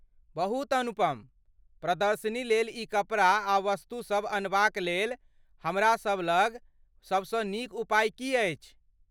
बहुत अनुपम। प्रदर्शनी लेल ई कपड़ा आ वस्तुसभ अनबाक लेल हमरासभ लग सभसँ नीक उपाय की अछि?